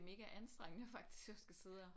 Mega anstrengende faktisk at skulle sidde og